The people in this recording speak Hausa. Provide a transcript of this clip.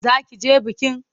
Za ki je bikin?